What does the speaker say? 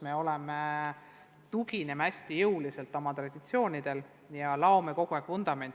Me tugineme kõvasti oma traditsioonidele ja tugevdame kogu aeg vundamenti.